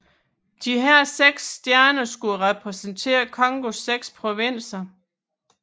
Disse seks stjerner skulle repræsentere Congos seks provinser